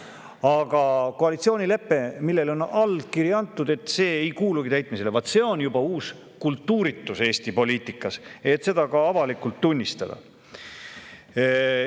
Aga et koalitsioonilepe, millele on allkiri antud, ei kuulu täitmisele – vaat see on juba uus kultuuritus Eesti poliitikas, et seda ka avalikult tunnistatakse.